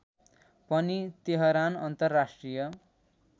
पनि तेहरान अन्तर्राष्ट्रिय